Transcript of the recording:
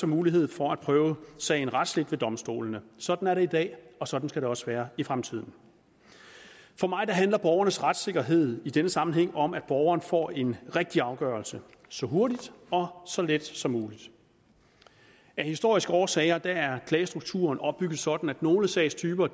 mulighed for at prøve sagen retsligt ved domstolene sådan er det i dag og sådan skal også være i fremtiden for mig handler borgernes retssikkerhed i denne sammenhæng om at borgeren får en rigtig afgørelse så hurtigt og så let som muligt af historiske årsager er klagestrukturen opbygget sådan at nogle sagstyper